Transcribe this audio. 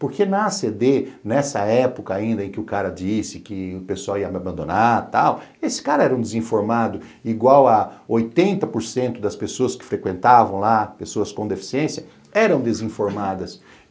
Porque na a ce dê, nessa época ainda em que o cara disse que o pessoal ia me abandonar e tal, esse cara era um desinformado igual a oitenta por cento das pessoas que frequentavam lá, pessoas com deficiência, eram desinformadas.